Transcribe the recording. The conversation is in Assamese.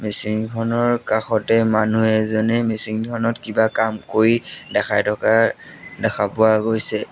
মেচিন খনৰ কাষতে মানুহ এজনে মেচিন ধৰণত কিবা কাম কৰি দেখাই থকা দেখা পোৱা গৈছে।